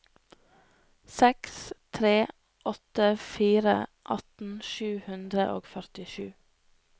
seks tre åtte fire atten sju hundre og førtisju